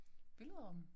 Billedrammen?